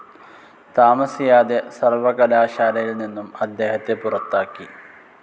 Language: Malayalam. താമസിയാതെ സർവകലാശാലയിൽ നിന്നും അദ്ദേഹത്തെ പുറത്താക്കി.